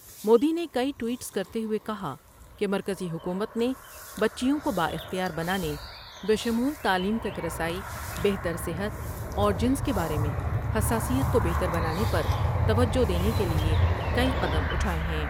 مودی نے کئی ٹوئیٹس کرتے ہوئے کہا کہ مرکزی حکومت نے بچیوں کو با اختیار بنانے بشمول تعلیم تک رسائی ، بہتر صحت اور جنس کے بار میں حساسیت کو بہتر بنانے پر توجہ دینے کے لئے کئی قدم اٹھائے ہیں ۔